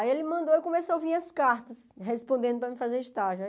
Aí ele mandou e eu comecei a ouvir as cartas respondendo para mim fazer estágio.